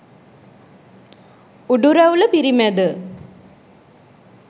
උඩු රැවුල පිරිමැද